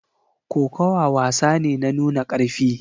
Kokawa wasa ne na nuna karfi